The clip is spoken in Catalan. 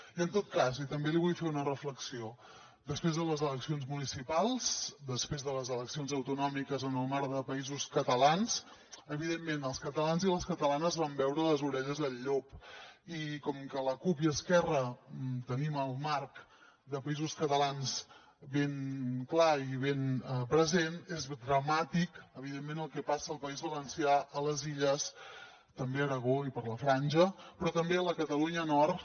i en tot cas i també li vull fer una reflexió després de les eleccions municipals després de les eleccions autonòmiques en el marc de països catalans evidentment els catalans i les catalanes vam veure les orelles al llop i com que la cup i esquerra tenim el marc de països catalans ben clar i ben present és dramàtic evidentment el que passa al país valencià a les illes també a aragó i a la franja però també a la catalunya nord